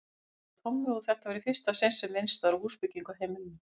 spurði Tommi, og þetta var í fyrsta sinn sem minnst var á húsbyggingu á heimilinu.